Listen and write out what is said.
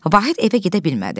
Vahid evə gedə bilmədi.